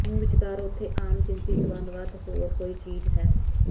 ਨੂੰ ਵਿਚਕਾਰ ਉੱਥੇ ਆਮ ਜਿਨਸੀ ਸੰਬੰਧ ਵੱਧ ਹੋਰ ਕੋਈ ਚੀਜ਼ ਹੈ